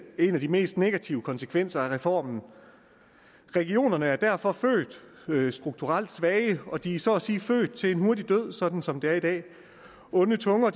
en af de mest negative konsekvenser af reformen regionerne er derfor født strukturelt svage og de er så at sige født til en hurtig død sådan som det er i dag onde tunger